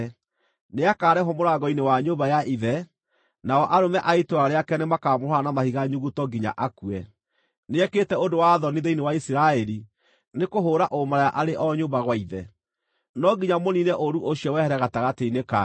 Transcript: nĩakarehwo mũrango-inĩ wa nyũmba ya ithe, nao arũme a itũũra rĩake nĩmakamũhũũra na mahiga nyuguto nginya akue. Nĩekĩte ũndũ wa thoni thĩinĩ wa Isiraeli nĩkũhũũra ũmaraya arĩ o nyũmba gwa ithe. No nginya mũniine ũũru ũcio wehere gatagatĩ-inĩ kanyu.